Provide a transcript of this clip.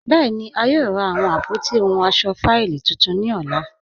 Bẹẹni, a yòò rà awọn àpótí ọhun ọṣọ fáílì títún ni ọlá.